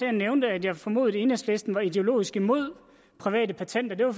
jeg nævnte at jeg formodede at enhedslisten var ideologisk imod private patenter